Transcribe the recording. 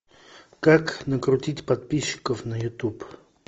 как накрутить подписчиков на ютуб